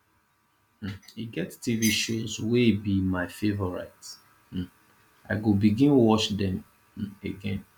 um e get tv shows wey be my favourite um i go begin watch dem um again